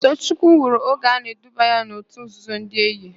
Toochukwu nwụrụ oge a na-eduba ya n'òtù nzuzo ndị Eye.